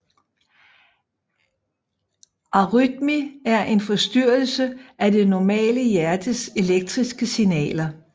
Arytmi er en forstyrrelse af det normale hjertes elektriske signaler